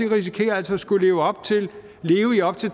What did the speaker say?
risikerer altså at skulle leve i op til